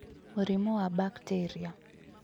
Mũrimũ wa bakteria